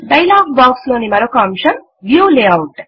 dialogue box లోని మరోక అంశము వ్యూ లేఆఉట్